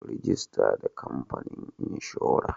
Rajista da kamfanin inshora.